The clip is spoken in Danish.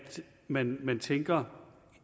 man indtænker